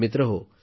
मित्रहो